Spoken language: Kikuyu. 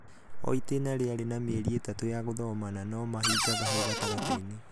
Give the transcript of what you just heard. o itĩna rĩarĩ na mĩeri ĩtatũ ya gũthoma na no mahingaga hau gatagatĩinĩ.